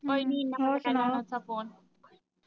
ਹੋਰ ਸੁਣਾਓ?